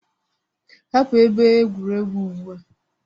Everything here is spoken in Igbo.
Hapụ ebe egwuregwu ugbu a!